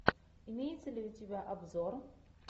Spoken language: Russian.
имеется ли у тебя обзор